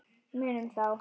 Munum þá.